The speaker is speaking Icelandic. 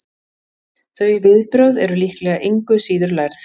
þau viðbrögð eru líklega engu síður lærð